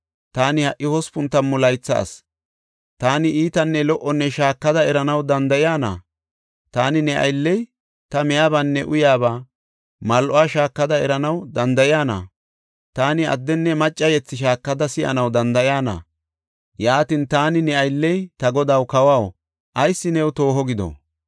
Taani ha77i hospun tammu laytha asi; taani iitanne lo77o shaakada eranaw danda7iyana? Taani ne aylley ta miyabaanne uyaaba mal7uwa shaakada eranaw danda7iyana? Taani addenne macca yethi shaakada si7anaw danda7iyana? Yaatin, taani ne aylley, ta godaw kawaw ayis tooho gido?